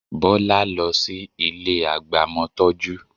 Bọ́lá lọ sí ilé agbamọtọ́jú